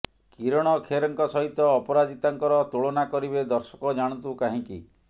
କିରଣ ଖେରଙ୍କ ସହିତ ଅପରାଜିତାଙ୍କର ତୁଳନା କରିବେ ଦର୍ଶକ ଜାଣନ୍ତୁ କାହିଁକି